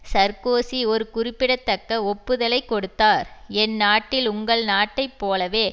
Sarkozy ஒரு குறிப்பிடத்தக்க ஒப்புதலைக் கொடுத்தார் என் நாட்டில் உங்கள் நாட்டைப்போலவே